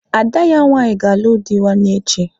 Ada ya nwaanyị ga-alụ dị nwanne echi.